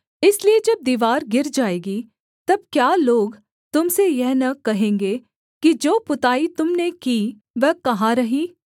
इसलिए जब दीवार गिर जाएगी तब क्या लोग तुम से यह न कहेंगे कि जो पुताई तुम ने की वह कहाँ रही